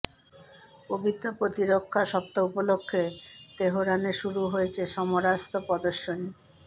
পবিত্র প্রতিরক্ষা সপ্তাহ উপলক্ষে তেহরানে শুরু হয়েছে সমরাস্ত্র প্রদর্শনী